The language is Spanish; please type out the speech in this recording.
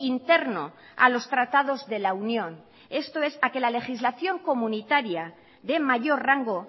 interno a los tratados de la unión esto es a que la legislación comunitaria de mayor rango